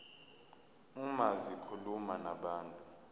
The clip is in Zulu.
uma zikhuluma nabantu